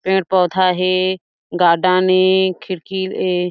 पेड़-पौधा हे गार्डन ए खिड़की ए--